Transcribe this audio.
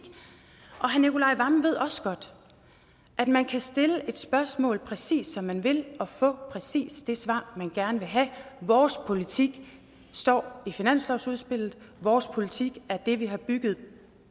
herre nicolai wammen ved også godt at man kan stille et spørgsmål præcis som man vil og få præcis det svar man gerne vil have vores politik står i finanslovsudspillet vores politik er det vi har bygget